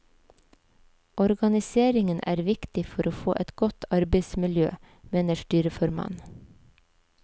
Organiseringen er viktig for å få et godt arbeidsmiljø, mener styreformannen.